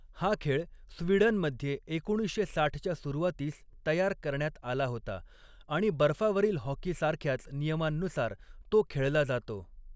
हा खेळ स्वीडनमध्ये एकोणीसशे साठच्या सुरुवातीस तयार करण्यात आला होता आणि बर्फावरील हॉकी सारख्याच नियमांनुसार तो खेळला जातो.